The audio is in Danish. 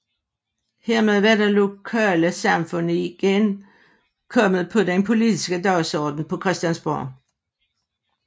Hermed var det lokale samfund igen kommet på den politiske dagsorden på Christiansborg